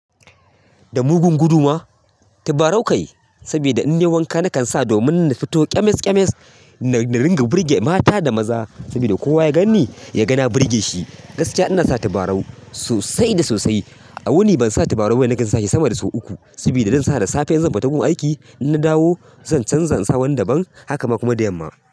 Da mugun gudu ma? Tabarau kai, sabida in nayi wanka nakan sa domin na fito ƙyamas ƙyamas na ringa burge mata da maza. Sabida kowa ya ganni ya ga na burge shi. Gaskiya ina sa tabarau sosai da sosai. A wuni ban sa tubarau bane na kan sa shi sama da sau uku. Sabida zan sa da safe in zan fita gun aiki, in na dawo zan canza in sa wani daban, haka ma kuma da yamma.